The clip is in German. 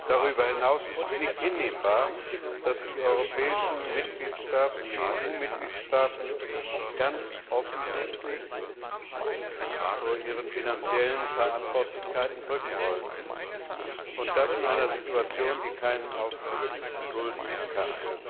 Darüber hinaus ist es nicht hinnehmbar, dass sich die EU Mitgliedstaaten ganz offensichtlich vor ihren finanziellen Verantwortlichkeiten drücken wollen, und das in einer Situation, die keinen Aufschub dulden kann.